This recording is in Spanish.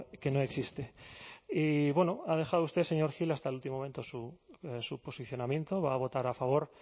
que no existe y bueno ha dejado usted señor gil hasta el último momento su posicionamiento va a votar a favor